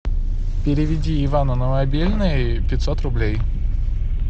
переведи ивану на мобильный пятьсот рублей